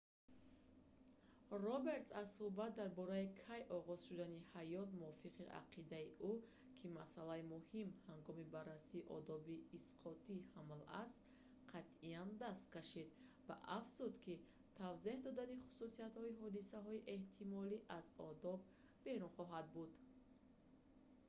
робертс аз сӯҳбат дар бораи кай оғоз шудани ҳаёт мувофиқи ақидаи ӯ ки масъалаи муҳим ҳангоми баррасии одоби исқоти ҳамл аст қатъиян даст кашид ва афзуд ки тавзеҳ додани хусусиятҳои ҳодисаҳои эҳтимолӣ аз одоб берун хоҳад буд